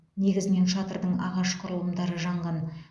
негізінен шатырдың ағаш құрылымдары жанған